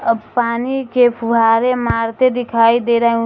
अब पानी के फुव्वारे मारते दिखाई दे रहे हैं।